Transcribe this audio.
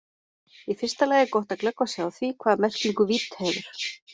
Í fyrsta lagi er gott að glöggva sig á því hvaða merkingu vídd hefur.